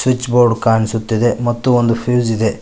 Switch board ಕಾಣಿಸುತ್ತಿದೆ ಮತ್ತು ಒಂದು ಫ್ಯೂಸ್ ಇದೆ.